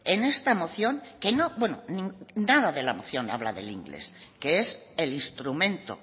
en esta moción que nada la moción habla del inglés que es el instrumento